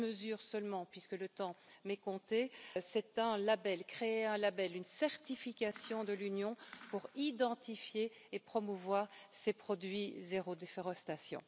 Une mesure seulement, puisque le temps m'est compté, c'est un label, créer un label, une certification de l'Union pour identifier et promouvoir ses produits zéro déforestation.